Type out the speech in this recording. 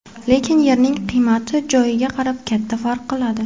Lekin yerning qiymati joyiga qarab katta farq qiladi.